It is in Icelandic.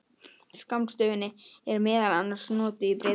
Skammstöfunin er meðal annars notuð í Bretlandi.